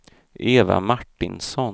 Eva Martinsson